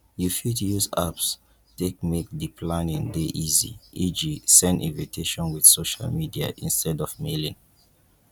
you fit use apps take make di planning dey easy eg send invitiation with social media instead of mailing